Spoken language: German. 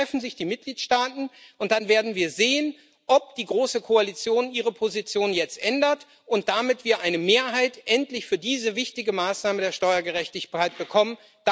Dann treffen sich die Mitgliedstaaten, und dann werden wir sehen, ob die große Koalition ihre Position jetzt ändert, damit wir endlich eine Mehrheit für diese wichtige Maßnahme der Steuergerechtigkeit bekommen.